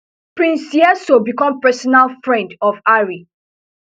prince seeiso become personal friend of harry